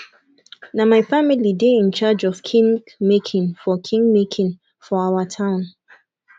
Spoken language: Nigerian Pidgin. na my family dey in charge of king making for king making for our town